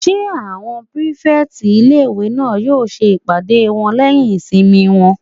Ṣé àwọn pírífẹ̀tì ilé-ìwé náà yóò ṣe ìpàdé wọn lẹ́yìn ìsinmi wọn?